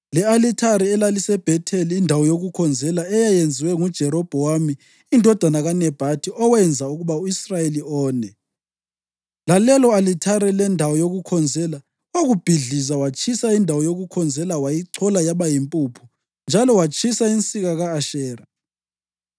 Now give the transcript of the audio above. Le-alithari elaliseBhetheli indawo yokukhonzela eyayenziwe nguJerobhowamu indodana kaNebhathi owenza ukuba u-Israyeli one, lalelo-alithare lendawo yokukhonzela, wakubhidliza. Watshisa indawo yokukhonzela wayichola yaba yimpuphu njalo watshisa insika ka-Ashera.